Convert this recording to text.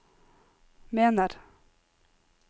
mener